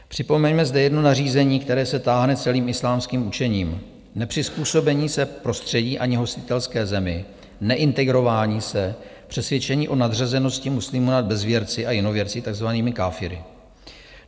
Připomeňme zde jedno nařízení, které se táhne celým islámským učením - nepřizpůsobení se prostředí ani hostitelské zemi, neintegrování se, přesvědčení o nadřazenosti muslimů nad bezvěrci a jinověrci, takzvanými káfiry.